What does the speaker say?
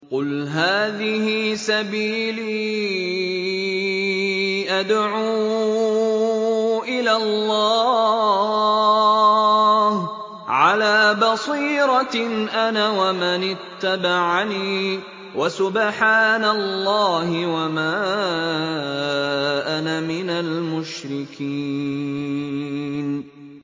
قُلْ هَٰذِهِ سَبِيلِي أَدْعُو إِلَى اللَّهِ ۚ عَلَىٰ بَصِيرَةٍ أَنَا وَمَنِ اتَّبَعَنِي ۖ وَسُبْحَانَ اللَّهِ وَمَا أَنَا مِنَ الْمُشْرِكِينَ